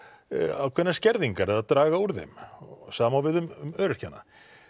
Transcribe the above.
ákveðnar skerðingar eða draga úr þeim sama á við um öryrkjana